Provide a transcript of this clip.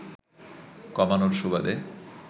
কমানোর সুবাদে